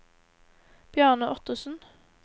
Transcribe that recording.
Bjarne Ottesen